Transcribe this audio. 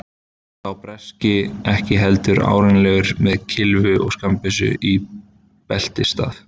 Sá breski ekki heldur árennilegur, með kylfu og skammbyssu í beltisstað.